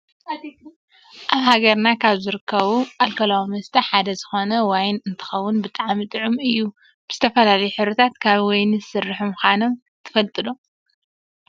ኣብ ሃገርና ካብ ዝርከቡ ኣልኮላዊ መስተ ሓደ ዝኮነ ዋይን እንትከውን ብጣዕሚ ጡዑም እዩ። ብዝተፈላለዩ ሕብርታት ካብ ወይኒ ዝስርሑ ምኳኖም ትፈልጡ ዶ ?